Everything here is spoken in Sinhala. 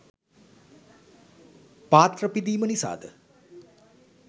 පාත්‍ර පිදීම නිසාද